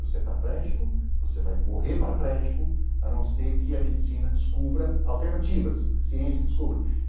Você é paraplégico, você vai morrer paraplégico, a não ser que a medicina descubra alternativas, a ciência descubra.